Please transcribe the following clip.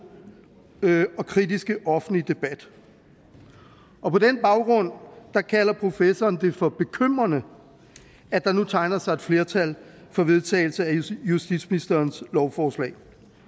og kritiske offentlige debat på den baggrund kalder professoren det for bekymrende at der nu tegner sig et flertal for vedtagelse af justitsministerens lovforslag